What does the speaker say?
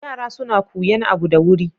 Yara suna kuyan abu da wuri.